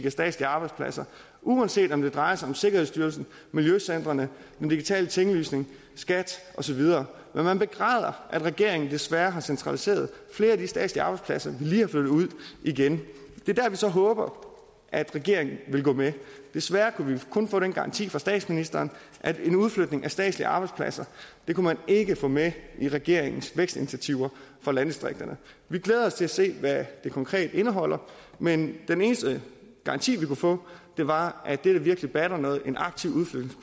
af statslige arbejdspladser uanset om det drejer sig om sikkerhedsstyrelsen miljøcentrene den digitale tinglysning skat og så videre men man begræder at regeringen desværre har centraliseret flere af de statslige arbejdspladser vi lige har flyttet ud igen det er så håber at regeringen vil gå med desværre kunne vi kun få den garanti fra statsministeren at en udflytning af statslige arbejdspladser kunne man ikke få med i regeringens vækstinitiativer for landdistrikterne vi glæder os til at se hvad de konkret indeholder men den eneste garanti vi kunne få var at det der virkelig batter noget en aktiv